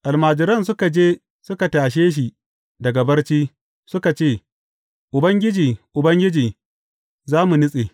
Almajiran suka je suka tashe shi daga barci, suka ce, Ubangiji, Ubangiji, za mu nutse!